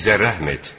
Bizə rəhm et.